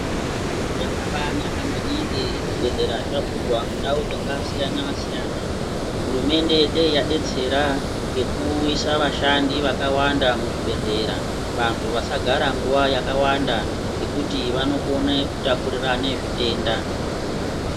Zvakabaanaka maningi, zvibhedhlera zvavhurwa mundau dzakasiyana siyana. Hurumende dei yabetsera ngekuisa vashandi vakawanda muzvibhedhlera. Vantu vasagara nguwa yakawanda ngekuti vanokone kutapurirana zvitenda.